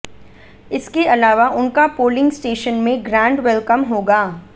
इसके अलावा उनका पोलिंग स्टेशन में ग्रैंड वेलकम होगा